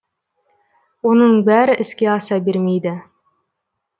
оның бәрі іске аса бермейді